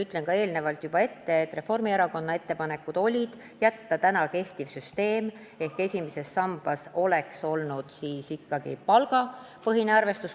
Ütlen juba ette, et Reformierakonna ettepanek oli jätta alles pragune süsteem ehk siis esimeses sambas oleks ikkagi jäänud palgapõhine arvestus.